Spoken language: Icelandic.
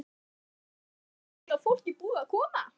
Þórhildur: Rosalega mikið af fólki búið að koma?